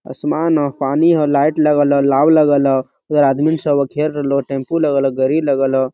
आसमान हो पानी हो लाइट लगल हो लगल हो इधर आदमी सब खेल रहेलु टेम्पु लगल हो लगल हो।